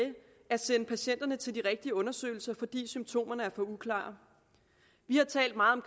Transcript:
at sende patienterne til de rigtige undersøgelser fordi symptomerne er for uklare vi har talt meget